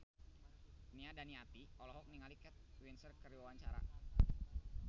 Nia Daniati olohok ningali Kate Winslet keur diwawancara